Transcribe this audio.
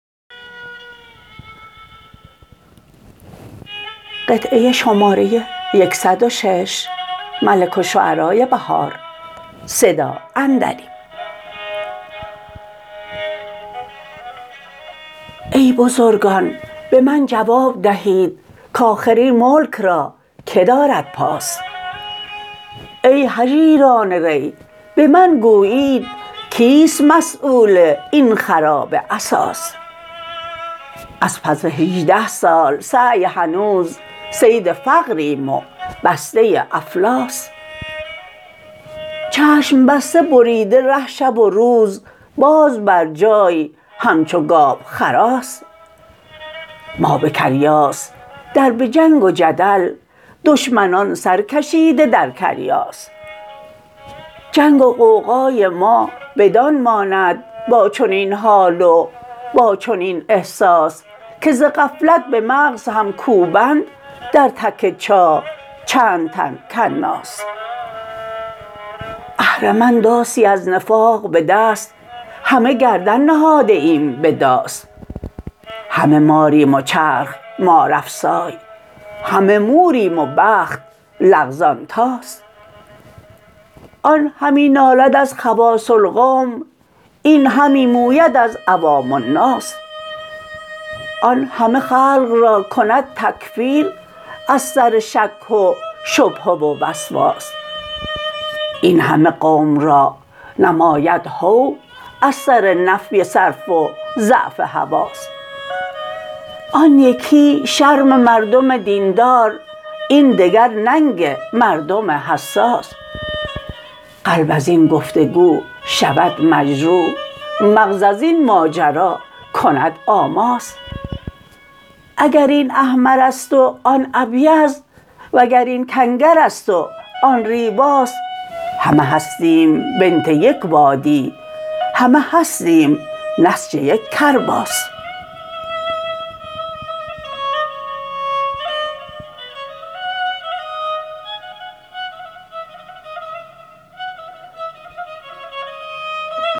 ای بزرگان به من جواب دهید کاخر این ملک راکه دارد پاس ای هژیران ری به من گویید کیست مسیول این خرابه اساس از پس هجده سال سعی هنوز صید فقریم و بسته افلاس چشم بسته بریده ره شب و روز باز بر جای همچو گاو خراس ما به کریاس در به جنگ و جدل دشمنان سرکشیده در کریاس جنگ و غوغای ما بدان ماند با چنین حال و با چنین احساس که ز غفلت به مغزهم کوبند در تک چاه چند تن کناس اهرمن داسی از نفاق به دست همه گردن نهاده ایم به داس همه ماریم و چرخ مارافسای همه موریم و بخت لغزان طاس آن همی نالد از خواص القوم این همی موید از عوام الناس آن همه خلق را کند تکفیر از سر شک و شبهه و وسواس این همه قوم را نماید هو از سر نفی صرف و ضعف حواس آن یکی شرم مردم دیندار این دگر ننگ مردم حساس قلب از این گفتگو شود مجروح مغز از این ماجرا کند آماس اگر این احمر است و آن ابیض وگر این کنگر است و آن ریواس همه هستیم بنت یک وادی همه هستیم نسج یک کرباس